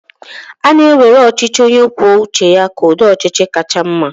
a na-ewere ọchịchị onye kwuo uche ya ka ụdị ọchịchị kacha mma